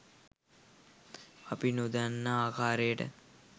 අප නොදන්නා ආකාරයට